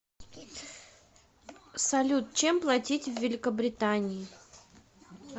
салют чем платить в великобритании